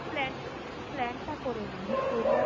plan অ plan টা করে নি, Victoria